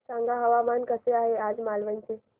सांगा हवामान कसे आहे आज मालवण चे